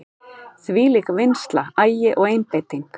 Þvílík vinnsla, agi og einbeiting.